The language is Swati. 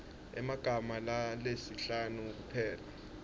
emagama lasihlanu kuphela